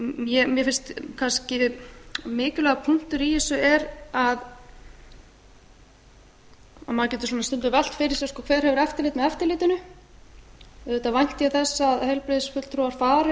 hana mér finnst kannski mikilvægur punktur í þessu er að maður getur stundum velt fyrir sér hver hefur eftirlit með eftirlitinu auðvitað vænti ég þess að heilbrigðisfulltrúar fari á alla þá